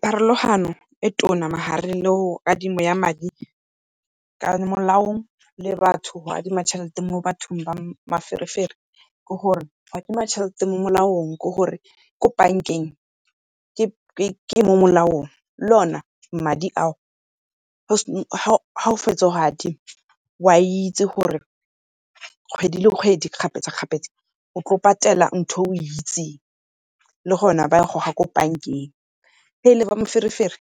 Pharologano e tona ma gareng le go adimo ya madi ka molaong le batho go adima tjhelete mo bathong ba maferefere, ke gore go adima tjhelete mo molaong ke gore ko bank-eng ke ko molaong, le o ne madi a o ga o fetsa go a adima o a itsi gore kgwedi le kgwedi kgapetsa-kgapetsa o tlo patela ntho e o itseng, le gona ba e goga ko bank-eng. Ge e le ba moferefere